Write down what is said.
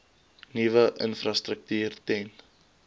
nuwe infrastruktuur ten